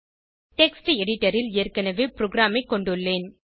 text editor ல் ஏற்கனவே ப்ரோகிராமைக் கொண்டுள்ளேன்